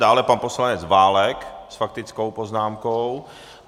Dále pan poslanec Válek s faktickou poznámkou.